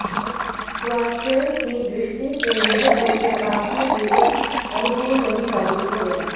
स्वास्थ्य की दृष्टि से यह गोचर आपके लिए कुछ अनुकूल नहीं साबित होगा